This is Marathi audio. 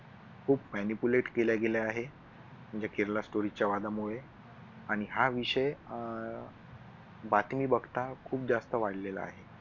खूप manipulate केल्या गेल्या आहेत. म्हणजे केरला स्टोरीच्या वादामुळे आणि हा विषय अह बातमी बघता खूप जास्त वाढलेला आहे.